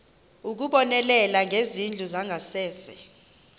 ukubonelela ngezindlu zangasese